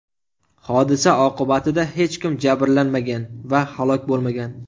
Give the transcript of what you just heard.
Hodisa oqibatida hech kim jabrlanmagan va halok bo‘lmagan.